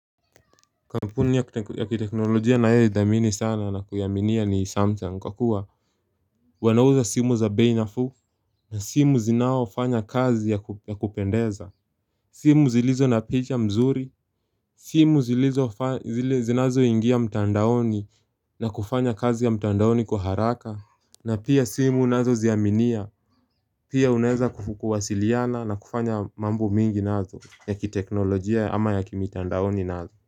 Kampuni ya kiteknolojia ninayoidhamini sana na kuiaminia ni samsung kwa kua Wanauza simu za bei nafuu na simu zinao fanya kazi ya kupendeza simu zilizo na picha mzuri simu zinazo ingia mtandaoni na kufanya kazi ya mtandaoni kwa haraka na pia simu nazoziaminia Pia unaweza kuwasiliana na kufanya mambo mingi nazo ya kiteknolojia ama ya kimitandaoni nazo.